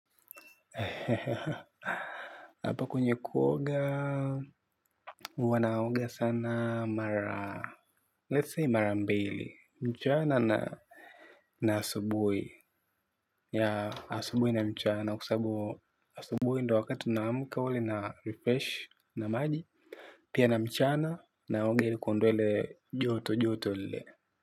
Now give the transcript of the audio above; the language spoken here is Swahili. Apo kwenye kuoga, huwa naoga sana mara, let's say mara mbili, mchana na asubui, ya asubui na mchana, kwa sababu asubui ndio wakati namka wale na refresh na maji, pia na mchana, naoga ilikuondoa ile joto joto lile.